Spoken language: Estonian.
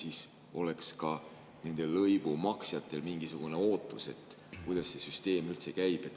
Siis oleks ka nende lõivu maksjatel mingisugune ootus ja teadmine, kuidas see süsteem üldse käib.